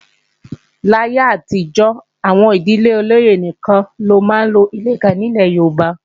Láyé àtijọ́, àwọn ìdílé olóyè nìkan ló máa ń lo ìlẹ̀kẹ̀ nílẹ̀ Yorùbá